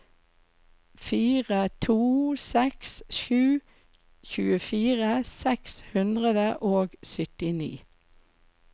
fire to seks sju tjuefire seks hundre og syttini